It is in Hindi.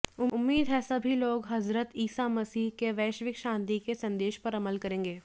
उम्मीद है सभी लोग हज़रत ईसा मसीह के वैश्विक शांति के संदेश पर अमल करेंगे